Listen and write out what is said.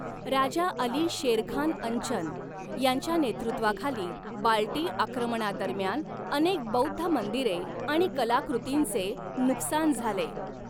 राजा अली शेरखान अंचन यांच्या नेतृत्वाखाली बाल्टी आक्रमणादरम्यान अनेक बौद्ध मंदिरे आणि कलाकृतींचे नुकसान झाले.